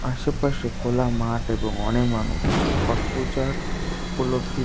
আশেপাশে খোলা মাঠ এবং অনেক মানুষ যা ছট পূজার উপলব্ধি।